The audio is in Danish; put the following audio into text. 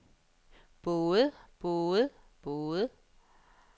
både både både